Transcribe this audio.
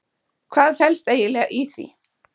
Hvað felst eiginlega í því?